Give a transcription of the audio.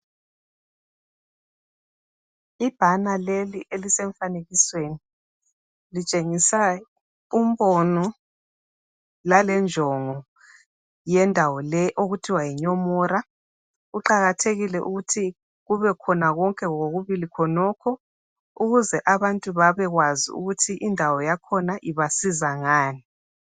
Ibhana leli elisemfanekisweni litshengisa umbono langenjongo yendawo leyi okuthiwa yinyomora kuqakathekile ukuthi kubekhona konke ngokubili khonokho ukuze abantu babekwazi ukuthi indawo yakhona ibasiza ngani.